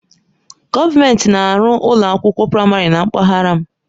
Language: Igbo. Gọọmenti na-arụ ụlọ akwụkwọ praịmarị na mpaghara m.